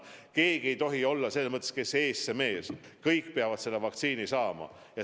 Keegi ei tohi lähtuda põhimõttest, et kes ees, see mees – kõik peavad selle vaktsiini saama.